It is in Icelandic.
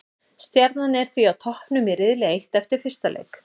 Stjarnan er því á toppnum í riðli eitt eftir fyrsta leik.